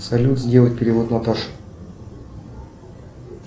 салют сделать перевод наташе